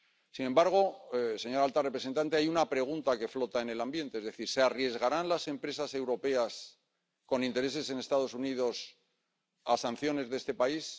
Sin embargo, señora alta representante, hay una pregunta que flota en el ambiente ¿Se arriesgarán las empresas europeas con intereses en Estados Unidos a sanciones de este país?